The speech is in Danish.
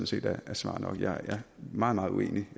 set er svar nok jeg er meget meget uenig